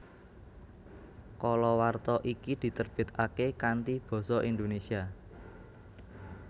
Kalawarta iki ditebitake kanthi Basa Indonesia